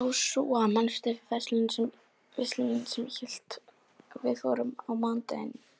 Jósúa, manstu hvað verslunin hét sem við fórum í á mánudaginn?